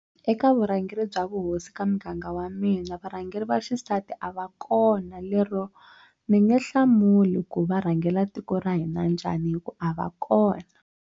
Eka vurhangeri bya vuhosi ka muganga wa mina varhangeri va xisati a va kona lero ni nge hlamuli ku va rhangela tiko ra hina njhani hi ku a va kona.